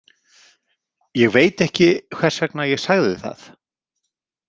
Ég veit ekki hvers vegna ég sagði það.